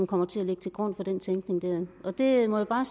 kommer til at ligge til grund for den tænkning jeg må bare